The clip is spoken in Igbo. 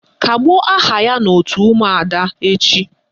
Kagbuo aha ya n' òtù ụmụada echi!